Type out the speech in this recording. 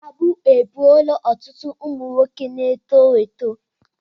Mkpagbu egbuola otụtụ ụmụ nwoke n'eto eto